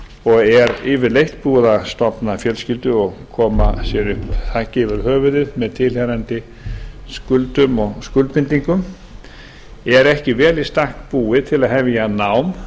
og er yfirleitt búið að stofna fjölskyldu og koma sér þaki yfir höfuðið með tilheyrandi skuldum og skuldbindingum er ekki vel í stakk búið til að hefja nám